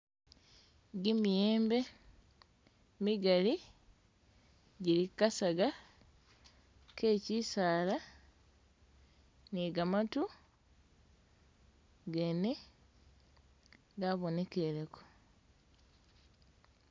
Gimiyembe migali gili kukasaga ketsisaala nigamatu gene gabonekeleko.